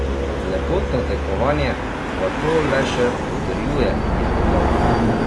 Lepotno tekmovanje pa to le še potrjuje, je dodal.